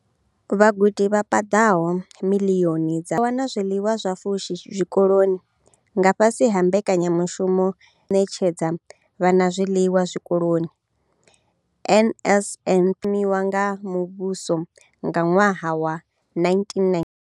Vhagudi vha paḓaho miḽioni dza ṱahe vha wana zwiḽiwa zwa pfushi zwikoloni nga fhasi ha Mbekanyamushumo ya lushaka ya u netshedza vhana zwiḽiwa zwikoloni NSNP ye ya thomiwa nga muvhuso nga ṅwaha wa 1994.